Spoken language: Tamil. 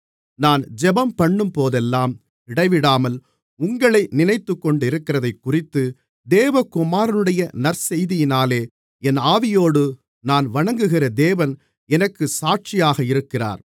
நான் ஜெபம்பண்ணும்போதெல்லாம் இடைவிடாமல் உங்களை நினைத்துக்கொண்டிருக்கிறதைக்குறித்துத் தேவகுமாரனுடைய நற்செய்தியினாலே என் ஆவியோடு நான் வணங்குகிற தேவன் எனக்குச் சாட்சியாக இருக்கிறார்